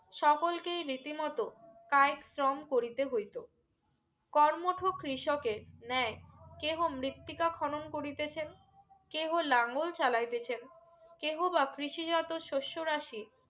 সকলকে রিতিমত কাইক শ্রম করিতে হইত কর্মঠ কৃষকের ন্যায় কেহ মৃত্তিকা খনন করিতেছে কেও লাঘল চাইতেছে কেহবা কৃষি জাত শস্য রাশি